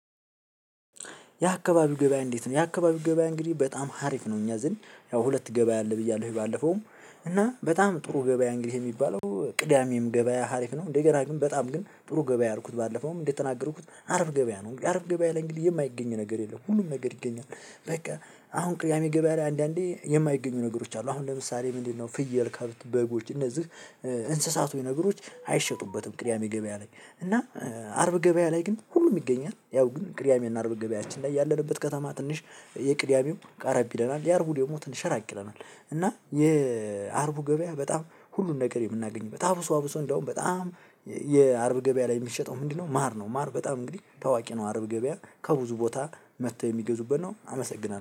የአካባቢው ገበያ እንዴት ነው? የአካባቢው ገበያ እንግዲህ በጣም አሪፍ ነው እኛ ዘንድ። ያው ሁለት ገበያ አለ ብያለሁ ባለፈውም እና በጣም ጥሩ ገበያ እንግዲህ የሚባለው ቅዳሜም ገበያ አሪፍ ነው እንደገና ግን በጣም ግን ጥሩ ገበያ ያልኩት ባለፈውም እንደተናገርኩት አርብ ገበያ ነው አርብ ገበያ ላይ እንግዲህ የማይገኝ ነገር የለም ሁሉም ነገር ይገኛል። በቃ አሁን ቅዳሜ ገበያ ላይ አንዳንዴ የማይገኙ ነገሮች አሉ። አሁን ለምሳሌ ምንድነው ፍየል፣ ከብት፣ በጎች እነዚህ እንስሳቶች ነገሮች አይሸጡበትም ቅዳሜ ገበያ ላይ። እና አርብ ገበያ ላይ ግን ሁሉም ይገኛል ያው ግን ቅዳሜ እና አርብ ገበያችን ላይ ያለንበት ከተማ ትንሽ የቅዳሜው ትንሽ ቀረብ ይለናል የአርቡ ደግሞ ትንሽ ራቅ ይለናል። የአርቡ ገበያ በጣም ሁሉን ነገር የምናገኝበት አብሶ አብሶ እንደውም በጣም የአርብ ገበያ ላይ የሚሸጠው ምንድነው ማር ነው። ማር በጣም እንግዲህ ታዋቂ ነው አርብ ገበያ ከብዙ ቦታ መጥተው የሚገዙበት ነው አመሰግናለሁ።